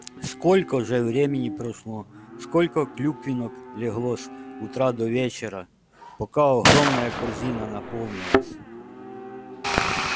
сколько же времени прошло сколько клюквинок легло с утра до вечера пока огромная корзина наполнилась